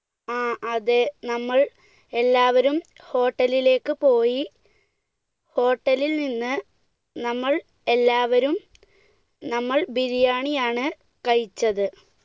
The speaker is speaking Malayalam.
ആ, അതെ നമ്മൾ എല്ലാവരും hotel ലേക്ക് പോയി, hotel ൽ നിന്ന് നമ്മൾ എല്ലാവരും നമ്മൾ ബിരിയാണി ആണ് കഴിച്ചത്.